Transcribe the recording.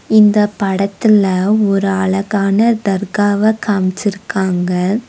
இந்தப் படத்துல ஒரு அழகான தற்காவ காமிச்சுருக்காங்க.